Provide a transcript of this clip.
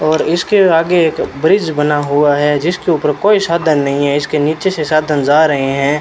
और इसके आगे एक ब्रिज बना हुआ है जिसके ऊपर कोई साधन नहीं है इसके नीचे से साधन जा रहे हैं।